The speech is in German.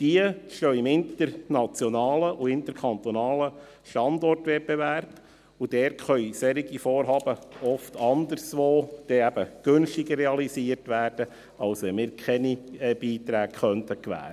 Diese stehen im internationalen und interkantonalen Standortwettbewerb, und dort können solche Vorhaben oft anderswo dann eben günstiger realisiert werden, als wenn wir keine Beiträge gewähren könnten.